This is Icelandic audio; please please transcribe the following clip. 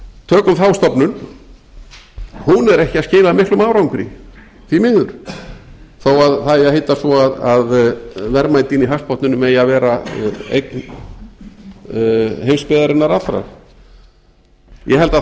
tökum þá stofnun hún er ekki að skila miklum árangri því miður þó að það eigi að heita svo að verðmætin í hafsbotninum eigi að vera eign heimsbyggðarinnar allrar ég held að